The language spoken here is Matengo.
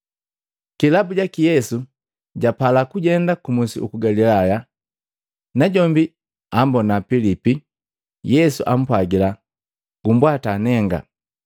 Kilabu jaki Yesu japala kujenda ku musi uku Galilaya. Najombi ambona Pilipi, Yesu apwagila, “Gumbwata nenga!”